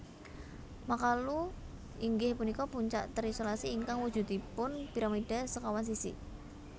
Makalu inggih punika puncak terisolasi ingkang wujudipun piramida sekawan sisi